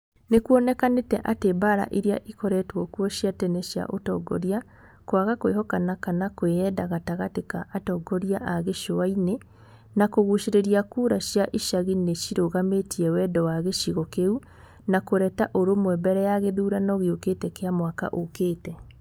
Nĩ kuonekanĩte atĩ mbaara iria ikoretwo kuo cia tene cia ũtongoria, kwaga kwĩhokana kana kwiyenda gatagatĩ ka atongoria a gĩcũa-inĩ na kũgucĩrĩria kura cia icagi nĩ cirũgamĩtie wendi wa gĩcigo kĩu wa kũreta ũrũmwe mbere ya gĩthurano gĩũkĩte kĩa mwaka ũkĩĩte.